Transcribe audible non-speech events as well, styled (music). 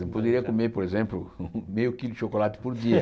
Eu poderia comer, por exemplo, (laughs) meio quilo de chocolate por dia.